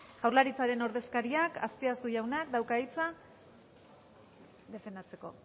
jaurlaritzaren ordezkariak azpiazu jaunak dauka hitza defendatzeko